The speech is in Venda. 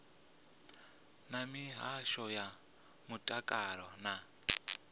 na mihasho ya mutakalo na